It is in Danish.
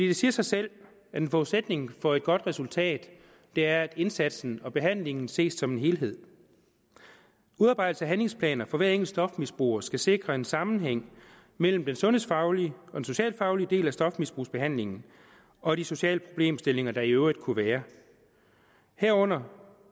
det siger sig selv at en forudsætning for et godt resultat er at indsatsen og behandlingen ses som en helhed udarbejdelse af handlingsplaner for hver enkelt stofmisbruger skal sikre en sammenhæng mellem den sundhedsfaglige og den socialfaglige del af stofmisbrugsbehandlingen og de sociale problemstillinger der i øvrigt kunne være herunder